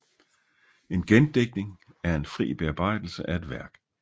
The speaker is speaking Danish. En gendigtning er en fri bearbejdelse af et værk